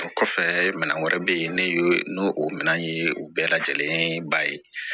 O kɔfɛ minɛn wɛrɛ bɛ yen ne ye n o minɛn ye u bɛɛ lajɛlen ba ye